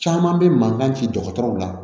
Caman bɛ mankan ci dɔgɔtɔrɔw la